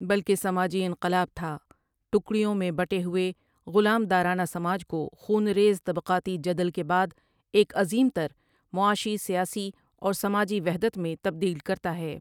بلکہ سماجی انقلاب تھا ٹکریوں میں بٹے ہوئے غلام دارانہ سماج کو خون ریز طبقاتی جدل کے بعد ایک عظیم تر معاشی سیاسی اور سماجی وحدت میں تبدیل کرتا ہے ۔